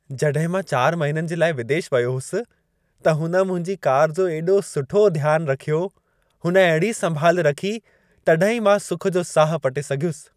जॾहिं मां 4 महिननि जे लाइ विदेश वयो होसि, त हुन मुंहिंजी कार जो एॾो सुठो ध्यान रखियो। हुन अहिड़ी संभाल रखी तॾहिं ई मां सुख जो साहु पटे सघियुसि।